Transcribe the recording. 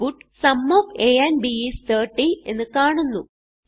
output sum of a and b is 30 എന്ന് കാണുന്നു